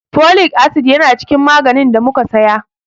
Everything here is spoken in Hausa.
Folic acid yana cikin maganin ɗa muka saya.